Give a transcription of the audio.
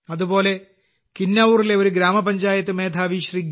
അതുപോലെ കിന്നൌറിലെ ഒരു ഗ്രാമപഞ്ചായത്ത് മേധാവി ശ്രീ